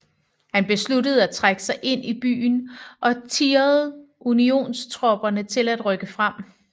Han besluttede at trække sig ind i byen og tirrede Unionstropperne til at rykke frem